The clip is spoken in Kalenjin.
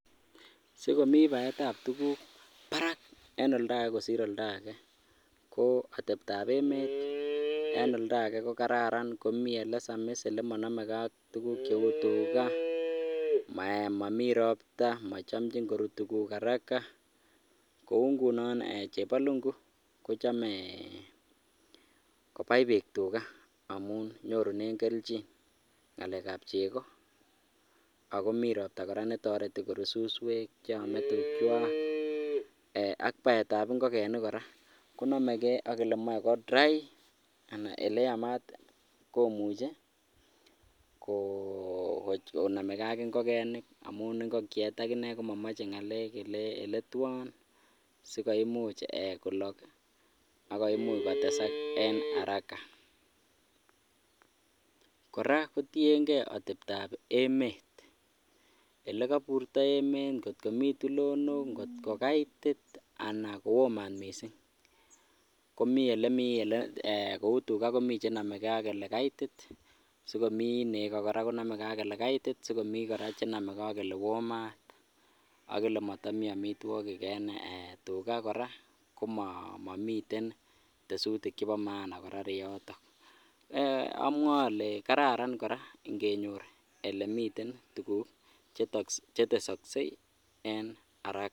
Sikomi baeitab tukuk Barak en oldake kosir oldake ko atebtab emet en oldake ko kararan komii olesamis elemonomeke ak tukuk cheu tukaa, momii robta mochomchin korut tukuk araka kou ng'unon chepalungu kochome kobai biik tukaa amun nyorunen kelchin ng'alekab chekoo ak komii robta kora netoreti korut suswek cheome tukwak ak baetab ing'okenik kora konomeke ak elemoe ko dry anan ko eleyamat komuche ko konomekee ak ing'okenik amun ing'okiet akinee komomoche ng'alek eletwon sikoimuch kolok ak koimuch kotesak en araka, kora kotieng'e atebtab emet, elekoburto emeet, ng'ot komii tulonok, ng'ot ko kaitit anan kowoo maat mising, komii elemii elee eeh kouu tukaa komii chenomekee ak elekaitit sikomii nekoo kora konomeke ak olee kaitit komii kora chenomekee ak olewoo maat ak elemotomi amitwokik en eeh tukaa kora komomiten tesutik chebo maana kora ireyotok, amwoe olee kararan kora ng'enyor elemiten tukuk chetesoksei en araka.